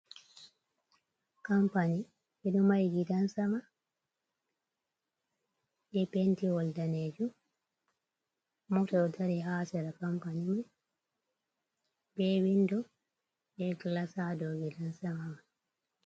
Kampani ɓe ɗo mahi gidan sama be pentiwol danejo, Mota ɗo dari ha sera kampani mai, be windo be glas ha do gidan sama man.